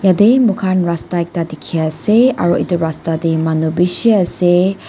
yatae moikhan ekta rasta dikhiase aro edu rasta tae manu bishi ase.